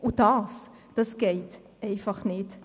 Und das geht einfach nicht.